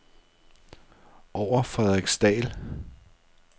Over Frederiksdal